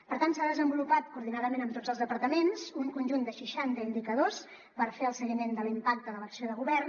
per tant s’ha desenvolupat coordinadament amb tots els departaments un conjunt de seixanta indicadors per fer el seguiment de l’impacte de l’acció de govern